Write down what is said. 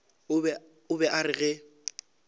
o be a re ge